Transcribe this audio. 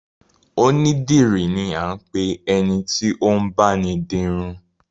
Onídìrí ni a ń pe ẹni tí ó ń báni di irun